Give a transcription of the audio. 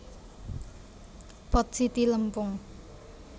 Pot siti lempung